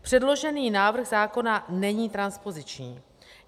Předložený návrh zákona není transpoziční.